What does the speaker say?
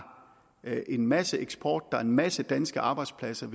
en masse eksport der er en masse danske arbejdspladser